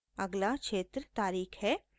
अगला क्षेत्र तारीख़ है